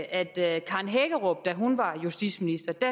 at karen hækkerup da hun var justitsminister